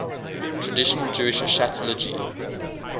traditional jewish eschatology